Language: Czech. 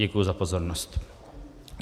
Děkuji za pozornost.